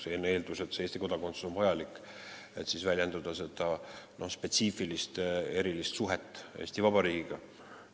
Eeldus on, et Eesti kodakondsus on vajalik, et väljendada spetsiifilist, erilist suhet Eesti Vabariigiga.